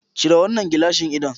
Cire wannan gilashin ido.